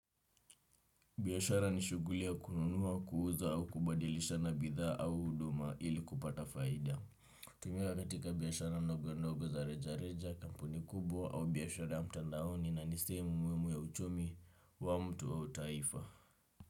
Biashara ni shughuli ya kununua, kuuza au kubadilisha na bidhaa au huduma ili kupata faida. Tumiwa katika biashara ndogo-ndogo za reja reja, kampuni kubwa au biashara mtandaoni na ni sehemu muhimu ya uchumi wa mtu au taifa.